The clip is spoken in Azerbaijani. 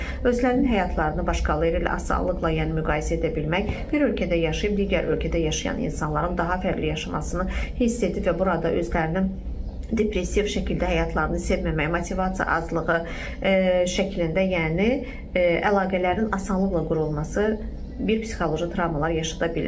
Özlərinin həyatlarını başqaları ilə asanlıqla yəni müqayisə edə bilmək, bir ölkədə yaşayıb, digər ölkədə yaşayan insanların daha fərqli yaşamasını hiss edib və burada özlərinin depressiv şəkildə həyatlarını sevməməyi, motivasiya azlığı şəklində, yəni əlaqələrin asanlıqla qurulması bir psixoloji travmalar yaşada bilir.